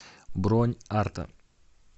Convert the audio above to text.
бронь арта